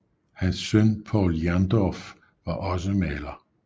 Hans søn Povl Jerndorff var også maler